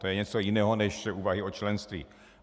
To je něco jiného než úvahy o členství.